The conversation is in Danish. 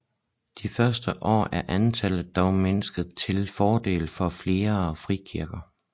De seneste år er antallet dog mindsket til fordel for flere frikirker